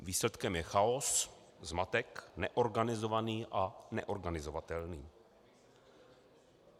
Výsledkem je chaos, zmatek, neorganizovaný a neorganizovatelný.